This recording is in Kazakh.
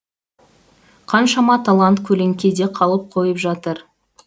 қаншама талант көлеңкеде қалып қойып жатыр